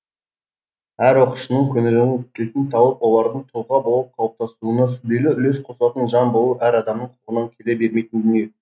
әр оқушының көңілінің кілтін тауып олардың тұлға болып қалыптасуына сүбелі үлес қосатын жан болу әр адамның қолынан келе бермейтін дүние